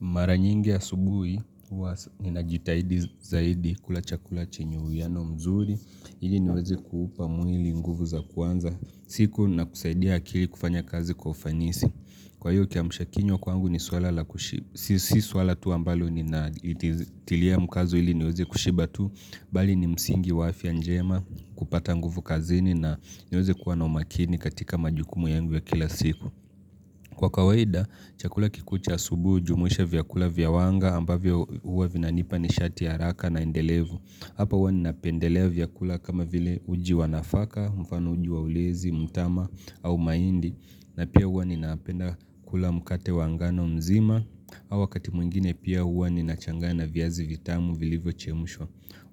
Mara nyingi ya subuhi, ninajitahidi zaidi kula chakula chinyu ya no mzuri. Ili niwezi kuupa mwili nguvu za kwanza siku na kusaidia akili kufanya kazi kwaufanisi. Kwa hiyo kia mshakinywa kwangu ni swala tu ambalo ni na itilia mkazo ili niwezi kushiba tu. Bali ni msingi wafya njema kupata nguvu kazini na niwezi kuwa na umakini katika majukumu yangu ya kila siku. Kwa kawaida, chakula kikucha subu ujumuisha vyakula vyawanga ambavyo huwa vina nipa ni shati ya raka na ndelevu. Hapa huwa ninapendelea vyakula kama vile uji wanafaka, mfano uji wa ulezi, mtama au maindi. Na pia huwa ninapenda kula mkate wangano mzima. Hawa katimungine pia huwa ninachangana vyazi vitamu vilivo chemushwa.